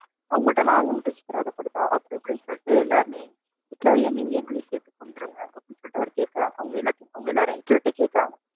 அவங்கள்ட்ட நாங்க மட்டும் சித்திரவதை படுறதா அப்படி இப்படின்னு சொல்லிட்டு எல்லாருமே ஹிட்லர் இனி எங்களையும் சேர்த்து கொன்றுங்க, அப்படின்னு சொல்லிட்டு அவர் கேக்குறாங்க அவங்க எல்லாத்தையும் அவங்க எல்லாரும் ஹிட்லர்ட்ட கேக்குறாங்க.